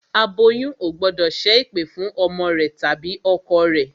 Aboyún ò gbọ́dọ̀ ṣẹ́ ẹ̀pẹ̀ fún ọmọ rẹ tàbí ọkọ rẹ